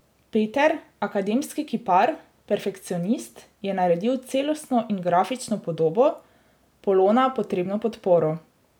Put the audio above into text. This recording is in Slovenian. Peter, akademski kipar, perfekcionist, je naredil celostno in grafično podobo, Polona potrebno podporo.